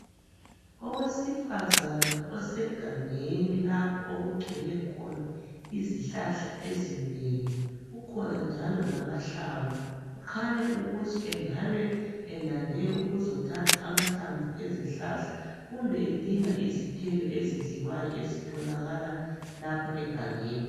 Owesifazana osegangeni lapho okugcwele khona izihlahla ezinengi kukhona njalo lamahlamvu khanya ukuthi engabe elande ukuzothatha amahlamvu ezihlahla kumbe edinga izithelo ezidliwayo ezitholakala lapha egangeni .